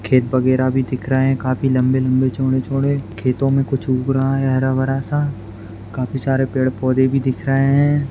खेत वगैरह भी दिख रहा है काफी लंबे-लंबे चौड़े-चौड़े खेतों में कुछ उग रहा हैं हरा-भरा सा काफी सारे पेड़-पौधे भी दिख रहे है।